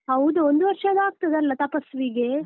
ಹೌದು ಒಂದು ವರ್ಷ ಆಗ್ತಾದಲ್ಲ ತಪಸ್ವಿಗೆ.